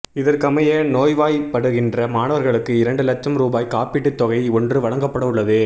இதற்கமைய நோய்வாய்ப்படுகின்ற மாணவர்களுக்கு இரண்டு லட்சம் ரூபாய் காப்பீட்டுத் தொகை ஒன்று வழங்கப்படவுள்ளது